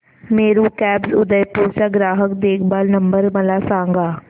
Meru cabs Udaipur चा ग्राहक देखभाल नंबर मला सांगा